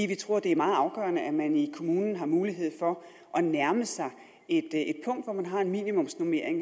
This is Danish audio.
vi tror det er meget afgørende at man i kommunen har mulighed for at nærme sig et punkt hvor man har en minimumsnormering